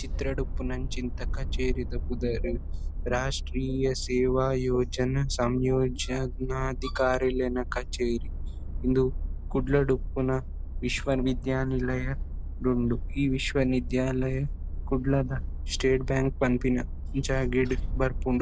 ಚಿತ್ರಡ್ ಉಪ್ಪುನಂಚಿಂತ ಕಚೇರಿದ ಪುದರ್ ರಾಷ್ಟ್ರೀಯ ಸೇವಾ ಯೋಜನ ಸಂಯೋಜನಾಧಿಕಾರಿ ಲೆನ ಕಚೇರಿ. ಇಂದು ಕುಡ್ಲಡ್ ಉಪ್ಪುನ ವಿಶ್ವ ವಿದ್ಯಾನಿಲಯ ಡ್ ಉಂಡು. ಈ ವಿಶ್ವ ನಿದ್ಯಾಲಯ ಕುಡ್ಲದ ಸ್ಟೇಟ್ ಬ್ಯಾಂಕ್ ಪನ್ಪಿನ ಜಾಗೆಡ್ ಬರ್ಪುಂಡು.